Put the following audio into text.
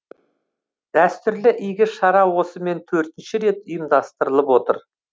дәстүрлі игі шара осымен төртінші рет ұйымдастырылып отыр